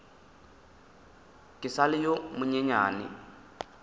ke sa le yo monyenyane